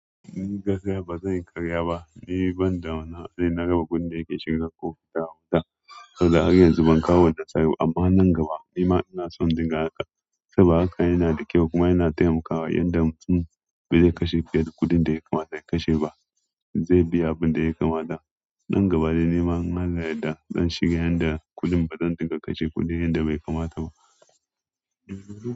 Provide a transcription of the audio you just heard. Ni gaskiya bazanyi karya ba. Ni banda wani hali na raba kuɗin dayake shiga kofi da wuta. Har yanzu bankawo nasara ba, amma nan gaba nima ina son dinga haka saboda haka yanada kyau kuma yana taimakawa yanda in bai kashe kuɗin da yakamata ya kashe ba zai biya abinda yakamata. Nan gaba dai nima in Allah ya yadda zan shiga yanda kuɗin bazan dinga kashe kuɗin yanda bai kamata ba.